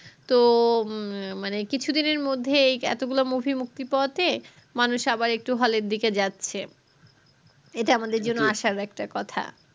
তো মানে কিছু দিনের মধ্যে এই এতগুলা movie মুক্তি পাওয়াতে মানুষ আবার একটু hall এর দিকে যাচ্ছে ইটা আমাদের জন্য আসার একটা কথা